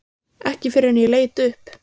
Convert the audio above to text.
Ekki fyrr en ég leit upp.